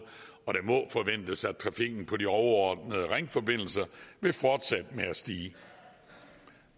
og det må forventes at trafikken på de overordnede ringforbindelser vil fortsætte med at stige